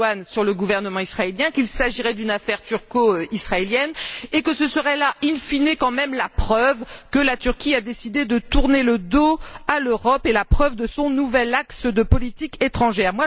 Erdogan sur le gouvernement israélien, qu'il s'agirait d'une affaire turco israélienne et que ce serait là, in fine quand même la preuve que la Turquie a décidé de tourner le dos à l'Europe et la preuve de son nouvel axe de politique étrangère.